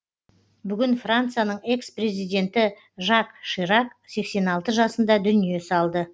бүгін францияның экс президенті жак ширак сексен алты жасында дүние салды